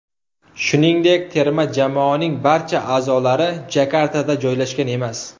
Shuningdek, terma jamoaning barcha a’zolari Jakartada joylashgan emas.